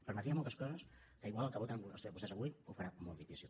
permetria moltes coses que igual el que voten vostès avui ho farà molt difícil